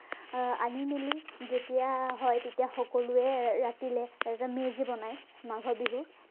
আহ আনি মেলি যেতিয়া হয়, তেতিয়া সকলোৱে ৰাতিলে মেজি বনায় মাঘৰ বিহু